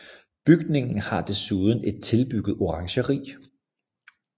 Bygningen har desuden et tilbygget orangeri